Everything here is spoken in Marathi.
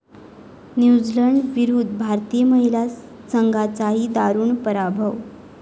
न्यूझीलंडविरुद्ध भारतीय महिला संघाचाही दारूण पराभव